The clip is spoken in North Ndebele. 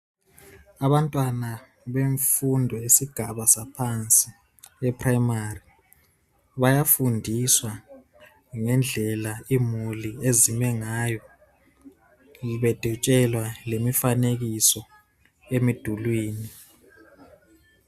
Abantwana bemfundo yesigaba saphansi ePrimary, bayafundiswa ngendlela imuli ezime ngayo bedwetshelwa lemifanekiso emidulwini